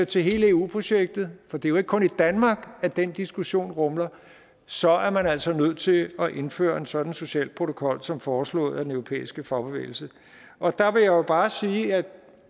til hele eu projektet for det er jo ikke kun i danmark at den diskussion rumler så er man altså nødt til at indføre en sådan social protokol som foreslået af den europæiske fagbevægelse og der vil jeg bare sige at